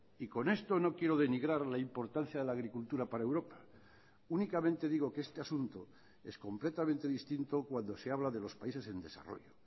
y con esto no quiero denigrar la importancia de la agricultura para europa únicamente digo que este asunto es completamente distinto cuando se habla de los países en desarrollo